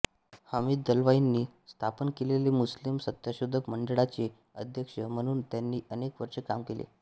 हमीद दलवाईंनी स्थापन केलेल्या मुस्लिम सत्यशोधक मंडळाचे अध्यक्ष म्हणून त्यांनी अनेक वर्षे काम केले